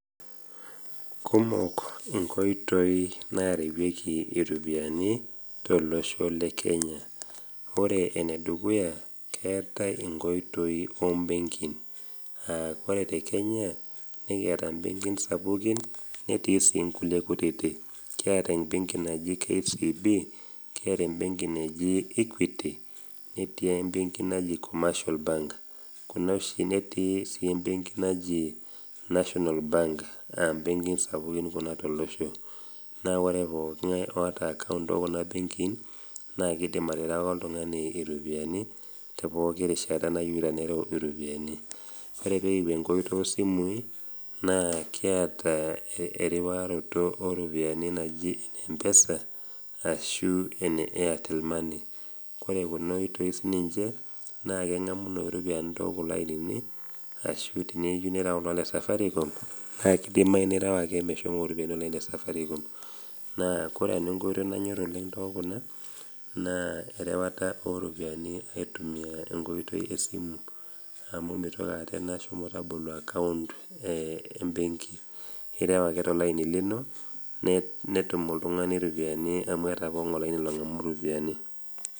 Kumok inkoitoi narewieki iropiani tolosho le Kenya, ore enedukuya, keatai enkoitoi o mbenkin, aa ore te Kenya, netii imbenkin sapuuki netii sii inkutiti, kiata KCB, kiata embenki naji Equity, netii embenki naji Commercial Bank, netii sii embenki naji National Bank a mbenkin sapuki kuna tolosho. Naa ore pooki ng'ai oata account tekuna mbenkin, naa keidim aterewaki oltung'ani iropiani te pooki rishata nayeuta nereu iropiani. Naa ore peekiwuo enkoitoi o simuui, kiata eriwaroto oropiani naji ene Mpesa ashu ene Airtel Money. Ore kuna oitoi siininche naa eng'amunoi iropiani tookulo ainini ashu tene iyeu nirewaki oltung'ani le Safaricom naa keidimayu ake nireu mesho iropiani ilo aini le safaricom. Naa ore nnau enkoitoi nanyor tookuna naaa erewata o ropiani aitumia enkoitoi e simu amu meitoki aata ena shomo tabolo account embenki ireu ake tolaini lino netum oltung'ani iropiani amu eata pooki ng'ai olaini long'amu iropiani.